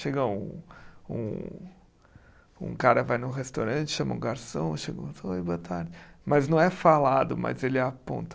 Chega um um um cara, vai num restaurante, chama um garçom, oi, boa tarde, mas não é falado, mas ele aponta.